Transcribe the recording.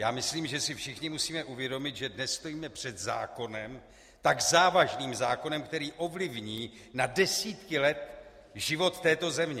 Já myslím, že si všichni musíme uvědomit, že dnes stojíme před zákonem, tak závažným zákonem, který ovlivní na desítky let život této země.